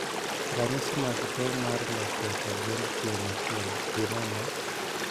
Ranyisi mag tuo mar lokruok e gund tieng' achiel gin ang'o?